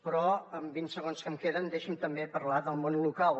però en vint segons que em queden deixi’m també parlar del món local